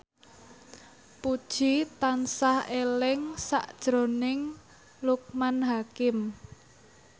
Puji tansah eling sakjroning Loekman Hakim